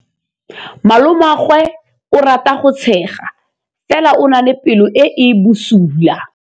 Malomagwe o rata go tshega fela o na le pelo e e bosula.